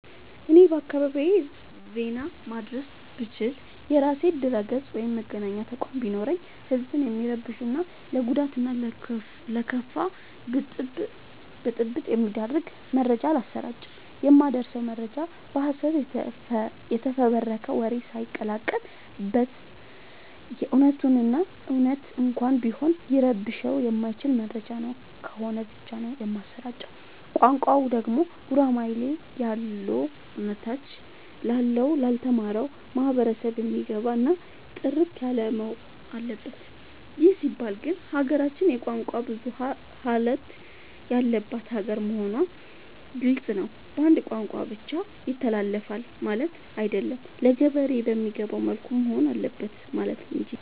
እኔ በአካባቢዬ ዜና ማድረስ ብችል። የራሴ ድረገፅ ወይም መገናኛ ተቋም ቢኖረኝ ህዝብን የሚረብሹ እና ለጉዳት እና ለከፋ ብጥብ የሚዳርግ መረጃ አላሰራጭም። የማደርሰው መረጃ በሀሰት የተፈበረከ ወሬ ሳይቀላቀል በት እውነቱን እና እውነት እንኳን ቢሆን ሊረብሸው የማይችል መረጃ ነው ከሆነ ብቻ ነው የማሰራጨው። ቋንቋው ደግሞ ጉራማይሌ ያሎነ ታች ላለው ላልተማረው ማህበረሰብ የሚገባ እና ጥርት ያለወሆን አለበት ይህ ሲባል ግን ሀገራችን የቋንቋ ብዙሀለት ያለባት ሀገር መሆኗ ግልፅ ነው። በአንድ ቋንቋ ብቻ ይተላለፍ ማለቴ አይደለም ለገበሬ በሚገባው መልኩ መሆን አለበት ማለት እንጂ።